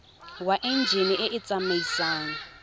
wa enjine e e tsamaisang